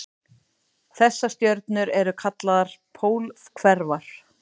Þessar stjörnur eru kallaðar pólhverfar.